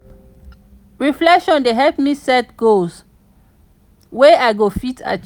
reflection dey help me set goals wey i go fit achieve.